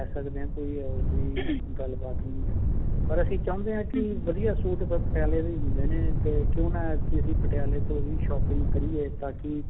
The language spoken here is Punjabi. ਲੈ ਸਕਦੇ ਹਾਂ ਕੋਈ ਇਹੋ ਜਿਹੀ ਗੱਲਬਾਤ ਨਹੀਂ ਹੈ ਪਰ ਅਸੀਂ ਚਾਹੁੰਦੇ ਹਾਂ ਕਿ ਵਧੀਆ suit ਪਟਿਆਲੇ ਦੇ ਹੀ ਹੁੰਦੇ ਨੇ ਤੇ ਅਸੀਂ ਪਟਿਆਲੇ ਤੋਂ ਹੀ shopping ਕਰੀਏ ਤਾਕਿ